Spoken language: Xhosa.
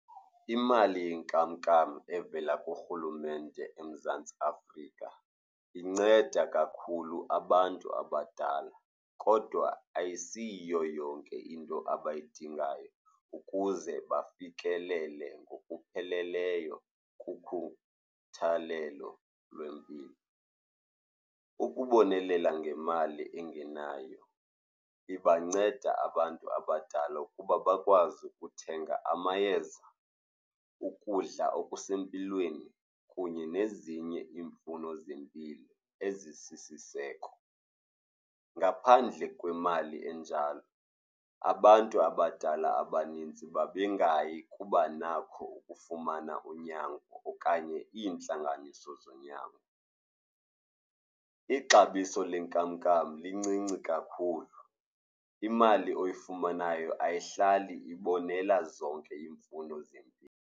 Imali yenkamnkam evela kurhulumente eMzantsi Afrika inceda kakhulu abantu abadala kodwa ayisiyiyo yonke into abayidingayo ukuze bafikelele ngokupheleleyo kukhuthalelo lwempilo. Ukubonelela ngemali engenayo ibanceda abantu abadala ukuba bakwazi ukuthenga amayeza, ukudla okusempilweni kunye nezinye iimfuno zempilo ezisisiseko. Ngaphandle kwemali enjalo, abantu abadala abaninzi bebengayi kubanako ukufumana unyango okanye iintlanganiso zonyango. Ixabiso lenkamnkam lincinci kakhulu, imali oyifumanayo ayihlali ibonelela zonke iimfuno zempilo.